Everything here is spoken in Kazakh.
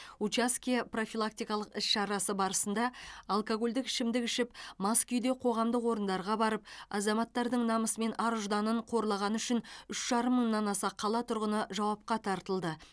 учаске профилактикалық іс шарасы барысында алкогольдік ішімдік ішіп мас күйде қоғамдық орындарға барып азаматтардың намысы мен ар ұжданын қорлағаны үшін үш жарым мыңнан аса қала тұрғыны жауапқа тартылды